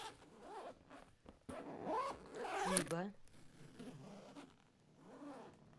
тиба